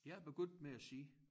Jeg er begyndt med at sige